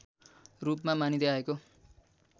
रूपमा मानिँदै आएको